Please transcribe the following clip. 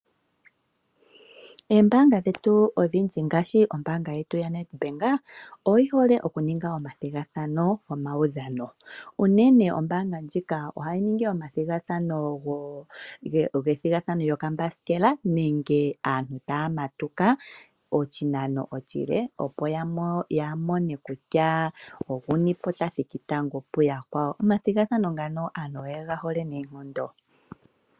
Oombaanga dhetu odhindji ngaashi ombaanga yetu yaNEDBANK oyi hole okuninga omathigathano gomaudhano, unene ombaanga ndjika ohayi ningi omathigathano gokambasikela nenge aantu taya matuka oshinano oshile, opo ya mone kutya, olye ta thiki tango kuyakwawo. Omathigathano ngano aantu oye ga hole noonkondo.